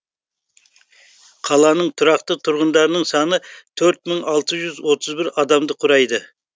қаланың тұрақты тұрғындарының саны төрт мың алты жүз отыз бір адамды құрайды